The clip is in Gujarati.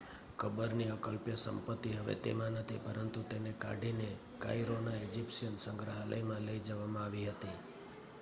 કબર ની અકલ્પ્ય સંપત્તિ હવે તેમાં નથી પરંતુ તેને કાઢી ને કાઇરો ના ઇજિપ્શિયન સંગ્રહાલય માં લઈ જવામાં આવી હતી